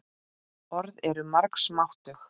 Orð eru margs máttug.